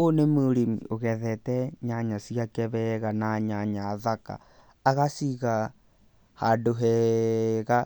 Ũyũ nĩ mũrĩmi ũgethete nyanya ciake wega na nyanya thaka, agaciga handũ hega